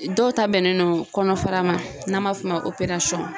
Dɔw ta bɛnnen don kɔnɔfara ma n'an b'a f'o ma ko